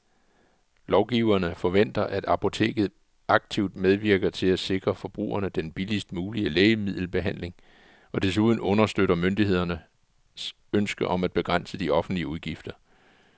Lovgiverne forventer, at apoteket aktivt medvirker til at sikre forbrugerne den billigst mulige lægemiddelbehandling og desuden understøtter myndighedernes ønske om at begrænse de offentlige udgifter.